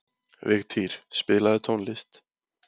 Vigtýr, spilaðu tónlist.